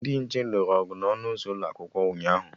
Ndị nche lụrụ ọgụ na ọnụ ụzọ ụlọakwụkwọ ụnyaahụ